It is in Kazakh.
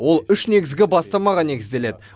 ол үш негізгі бастамаға негізделеді